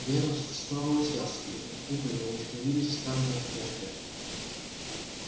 венус снова уселся и губы его искривились в странной усмешке